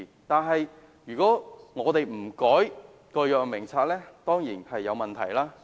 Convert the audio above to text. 但是，如果我們不修改《藥物名冊》，當然會有問題。